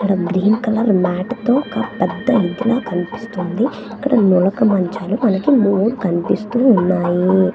ఇక్కడ green colour mat తో ఒక పెద్ద కనిపిస్తుంది ఇక్కడ నులక మంచాలు మనకి మూడు కనిపిస్తూ ఉన్నయి.